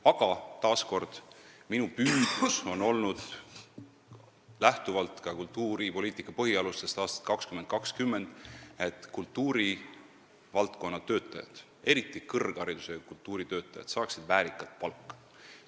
Aga taas kord ütlen, et minu püüdlus on olnud, lähtuvalt ka "Kultuuripoliitika põhialustest aastani 2020", see, et kultuurivaldkonna töötajad, eriti kõrgharidusega kultuuritöötajad, saaksid väärikat palka.